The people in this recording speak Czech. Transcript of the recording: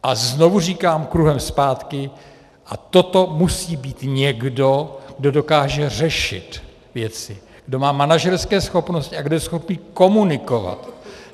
A znovu říkám kruhem zpátky, a toto musí být někdo, kdo dokáže věci řešit, kdo má manažerské schopnosti a kdo je schopný komunikovat.